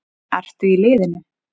Ertu í liðinu?